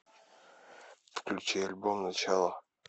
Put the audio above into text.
включи альбом начало